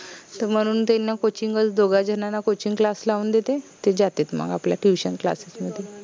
त म्हनुन त्यांना Coaching च दोघा झनाना Coachingclass लाऊन देते ते जातेत मंग आपल्या Tuitionclass मध्ये